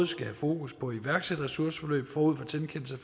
skal have fokus på iværksætterressourceforløb forud for tilkendelse